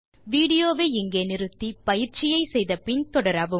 video வை நிறுத்தி பயிற்சியை முடித்த பின் தொடரவும்